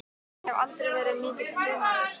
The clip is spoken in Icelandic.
Ég hef aldrei verið mikill trúmaður.